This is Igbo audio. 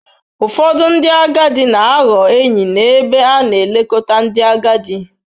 Ụfọdụ ndị agadi na-aghọ enyi n'ebe a na-elekọta ndị agadi.